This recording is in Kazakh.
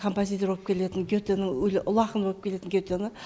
композиторы болып келетін гетені ұлы ақын болып келетін гетені